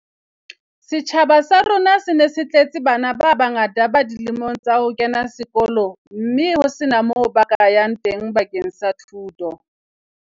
Setjhaba sa rona se ne se tletse bana ba bangata ba dilemong tsa ho kena sekolo mme ho sena moo ba ka yang teng bakeng sa thuto.